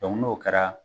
n'o kɛra